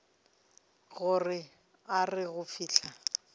gore a re go fihla